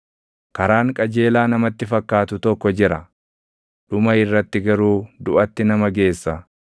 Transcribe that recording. Karaan qajeelaa namatti fakkaatu tokko jira; dhuma irratti garuu duʼatti nama geessa.